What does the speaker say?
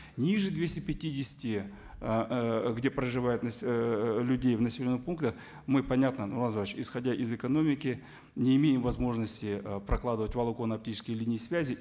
ниже двести пятидесяти ыыы где проживают ыыы людей в населенных пунктах мы понятно нурлан зайроллаевич исходя из экономики не имеем возможности ы прокладывать волоконно оптические линии связи